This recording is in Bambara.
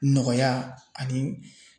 Nɔgɔya ani